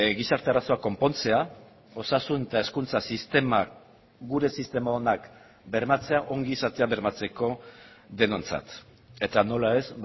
gizarte arazoak konpontzea osasun eta hezkuntza sistemak gure sistema onak bermatzea ongizatea bermatzeko denontzat eta nola ez